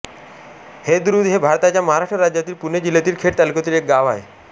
हेदरूज हे भारताच्या महाराष्ट्र राज्यातील पुणे जिल्ह्यातील खेड तालुक्यातील एक गाव आहे